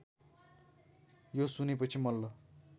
यो सुनेपछि मल्ल